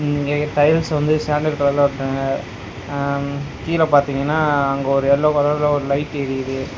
இங்க டைல்ஸ் வந்து சாண்டல் கலர்ல ஒட்றாங்க அம் கீழ பாத்தீங்கன்னா அங்க ஒரு எல்லோ கலர்ல ஒரு லைட் எரியுது.